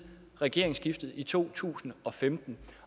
regeringsskiftet i to tusind og femten